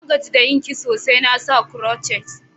Na gaji da yin kiso, sai na sa crotchet.